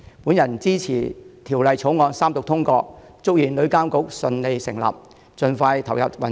我支持《條例草案》三讀通過，祝願旅監局順利成立，盡快投入運作。